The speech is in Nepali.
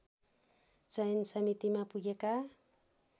चयन समितिमा पुगेका